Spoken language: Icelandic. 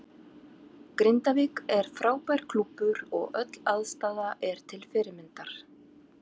Grindavík er frábær klúbbur og öll aðstaða er til fyrirmyndar.